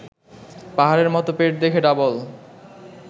পাহাড়ের মতো পেট দেখে ভাবল